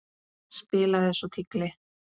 Spilaði svo tígli.